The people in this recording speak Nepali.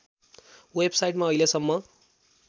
वेबसाइटमा अहिलेसम्म